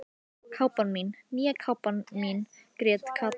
Kápan mín, nýja kápan mín grét Kata.